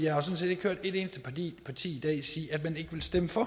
har sådan set ikke hørt et eneste parti parti i dag sige at man ikke vil stemme for